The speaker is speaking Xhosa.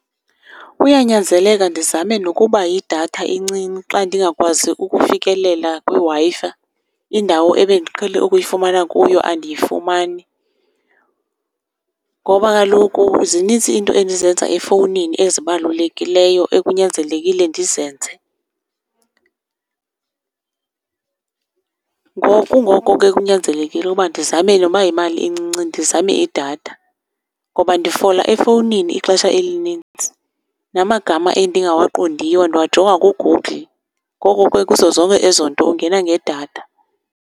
Kuyanyanzeleka ndizame nokuba yidatha encinci xa ndingakwazi ukufikelela kwiWi-Fi, indawo ebendiqhele ukuyifumana kuyo andiyifumani ngoba kaloku zinintsi iinto endizenza efowunini ezibalulekileyo ekunyanzelekile ndizenze. Ngoku ngoko ke kunyanzelekile uba ndizame noba yimali encinci ndizame idatha ngoba ndifola efowunini ixesha elinintsi, namagama endingawaqondiyo ndiwajonga kuGoogle. Ngoko ke kuzo zonke ezo nto ungena ngedatha.